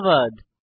ধন্যবাদ